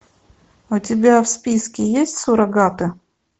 у тебя в списке есть суррогаты